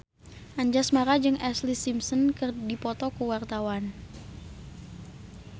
Anjasmara jeung Ashlee Simpson keur dipoto ku wartawan